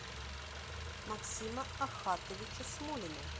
максима ахатовича смолина